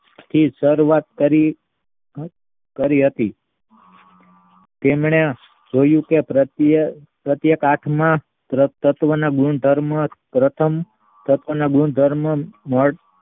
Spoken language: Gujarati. થી સર્વસ્થ કરી હતી. તેમને જોયું કે પ્રત્યક આંખમાં તત્વને ગુણધર્મો પ્રથમ તત્વના ગુણધર્મો